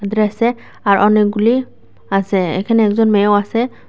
আর অনেকগুলি আসে এখানে একজন মেয়েও আসে।